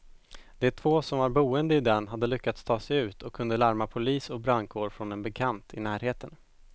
De två som var boende i den hade lyckats ta sig ut och kunde larma polis och brandkår från en bekant i närheten.